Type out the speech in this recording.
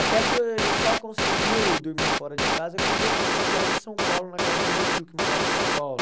Até que ele só conseguiu dormir fora de casa quando eu fiz uma viagem a São Paulo na casa do meu tio que morava em São Paulo.